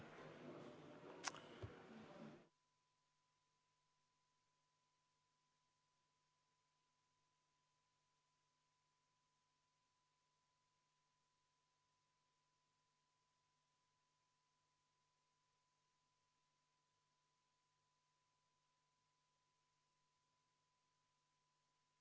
V a h e a e g Head kolleegid!